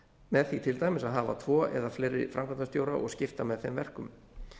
með því til dæmis að hafa tvo eða fleiri framkvæmdastjóra og skipta með þeim verkum